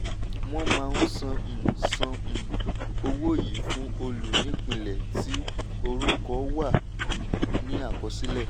wọ́n máa san um san um owó yìí fún olùnípìnlẹ̀ tí orúkọ wà um ní àkọsílẹ̀.